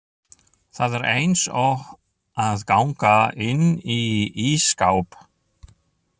Það er eins og að ganga inn í ísskáp.